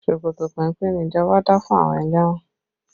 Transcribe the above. Ṣòkòtò péńpé ni ìjọba dá fún àwọn ẹlẹ́wọ̀n